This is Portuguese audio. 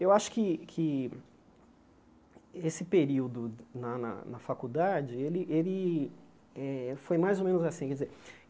Eu acho que que esse período na na na faculdade ele ele eh foi mais ou menos assim. Quer dizer